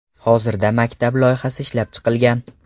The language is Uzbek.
Hozirda maktab loyihasi ishlab chiqilgan.